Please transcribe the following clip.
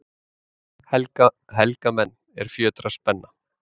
Helga menn, er fjötrar spenna,